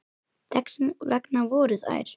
Þess vegna fóru þær.